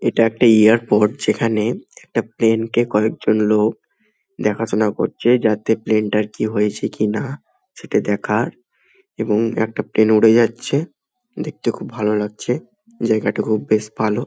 এইটা একটা এয়ারপোর্ট । যেখানে একটা প্লেন কয়েকজন লোক দেখা সোনা করছে যাতে প্লেন তার কিছু হয়েছে কিনা। সিটি দেখা এবং একটা প্লেন উড়ে যাচ্ছে জায়গাটি বেশ ভালো।